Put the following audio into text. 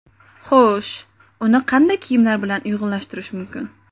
Xo‘sh, uni qanday kiyimlar bilan uyg‘unlashtirish mumkin?